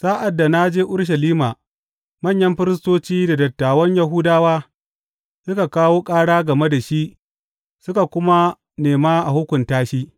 Sa’ad da na je Urushalima, manyan firistoci da dattawan Yahudawa suka kawo ƙara game da shi suka kuma nema a hukunta shi.